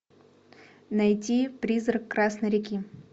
найти призрак красной реки